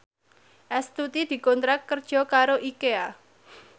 Astuti dikontrak kerja karo Ikea